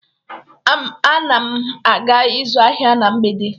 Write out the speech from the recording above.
Ana m aga ịzụ ahịa na mgbede